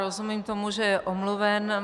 Rozumím tomu, že je omluven.